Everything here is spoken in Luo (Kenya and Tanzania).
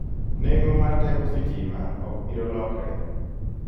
Neng'o mar teko sitima ok biro lokre.